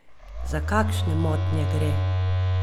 Za kakšne motnje gre?